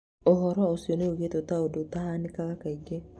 Ũhoro ũcio nĩũgwetetwo ta ũndũ ũtahanakaga kaingĩ